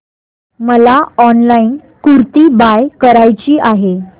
मला online kurti buy करायची आहे